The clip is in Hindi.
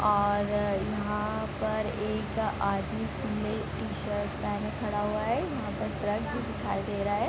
और यहाँ पर एकआदमी खुले टी-शर्ट पहने खड़ा हुआ है यहाँ पर ट्रक भी दिखाई दे रहा है।